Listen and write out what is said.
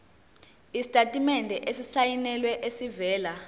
isitatimende esisayinelwe esivela